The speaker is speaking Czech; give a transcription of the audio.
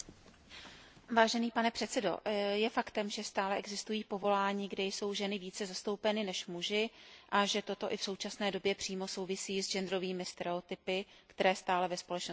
Vážený pane předsedo, je faktem, že stále existují povolání, kde jsou ženy více zastoupeny než muži, a že toto i v současné době přímo souvisí s genderovými stereotypy, které stále ve společnosti vládnou.